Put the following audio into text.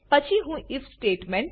પછી હું IF statement